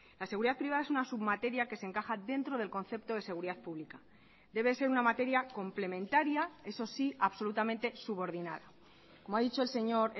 la seguridad privada es una submateria que se encaja dentro del concepto de seguridad pública debe ser una materia complementaria eso sí absolutamente subordinada como ha dicho el señor